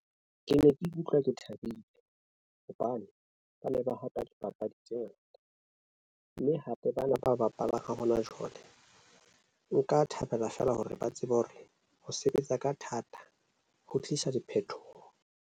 Ke ne ke ikutlwa ke thabile hobane ba ne ba hapa dipapadi tse ngata mme hape bana ba bapala. Ha hona jwale, nka thabela feela hore ba tsebe hore ho sebetsa ka thata ho tlisa diphethoho.